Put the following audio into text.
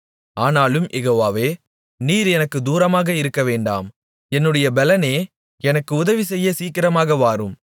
ஆனாலும் யெகோவாவே நீர் எனக்குத் தூரமாக இருக்கவேண்டாம் என்னுடைய பெலனே எனக்கு உதவிசெய்ய சீக்கிரமாக வாரும்